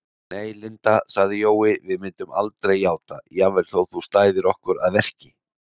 Nei, Linda sagði Jói, við myndum aldrei játa, jafnvel þótt þú stæðir okkur að verki